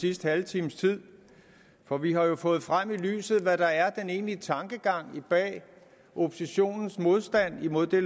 sidste halve times tid for vi har jo fået frem i lyset hvad der er den egentlige tankegang bag oppositionens modstand mod det